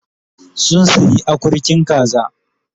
Sun sayi akurkin kaza